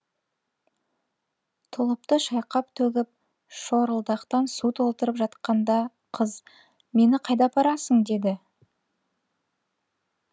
тұлыпты шайқап төгіп шорылдақтан су толтырып жатқанында қыз мені қайда апарасың деді